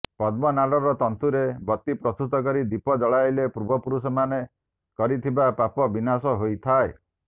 ପଦ୍ମନାଡର ତନ୍ତୁରେ ବତି ପ୍ରସ୍ତୁତ କରି ଦୀପ ଜଳାଇଲେ ପୂର୍ବପୁରୁଷମାନେ କରିଥିବା ପାପ ବିନାଶ ହୋଇଥାଏ